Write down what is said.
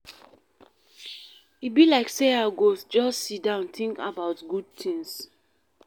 E be like sey I go just sit down tink about good tins.